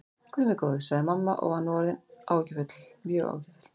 Guð minn góður, sagði mamma og var nú aftur orðin mjög áhyggjufull.